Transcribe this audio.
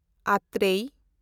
ᱟᱛᱨᱮᱭ